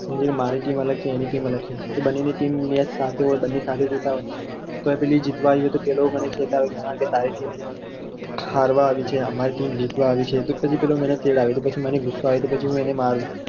મારી team અલગ છે એની team અલગ છે તો બંનેની team ની match સાથે હોય બંને સાથે જોતાં હોય તો પેલી જીતવા આવી હોય તો પેલો મને કે કે તારી team જીતી છે કે હરવા આવી છે તો પેલો માંને ચિડાવે તો માંને ગુસ્સો આવે અને હું અને મારુ